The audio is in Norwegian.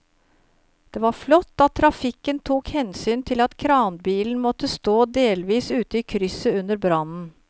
Det var flott at trafikken tok hensyn til at kranbilen måtte stå delvis ute i krysset under brannen.